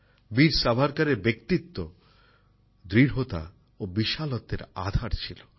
বীর সাভারকারের ব্যক্তিত্ব দৃঢ়তা ও বিশালত্বের আধার ছিল